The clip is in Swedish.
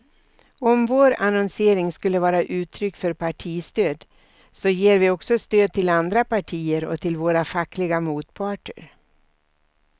Om vår annonsering skulle vara uttryck för partistöd, så ger vi också stöd till andra partier och till våra fackliga motparter.